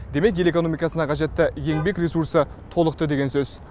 демек ел экономикасына қажетті еңбек ресурсы толықты деген сөз